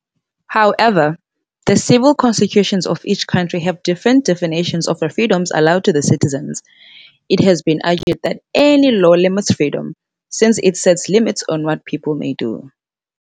However, the civil constitutions of each country have different definitions of the freedoms allowed to the citizens. It has been argued that any law limits freedom, since it sets limits on what people may do.